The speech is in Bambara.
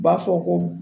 U b'a fɔ ko